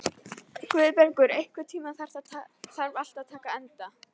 Guðbergur, einhvern tímann þarf allt að taka enda.